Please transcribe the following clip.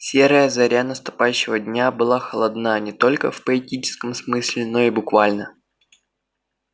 серая заря наступающего дня была холодна не только в поэтическом смысле но и в буквальном